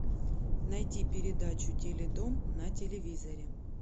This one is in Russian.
найти передачу теледом на телевизоре